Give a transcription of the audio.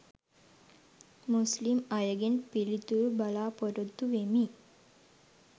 මුස්ලිම් අයගෙන් පිළිතුරු බලා පොරොත්තු වෙමි.